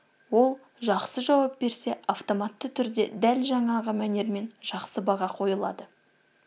ол жақсы жауап берсе автоматты түрде дәл жаңағы мәнермен жақсы баға қойылады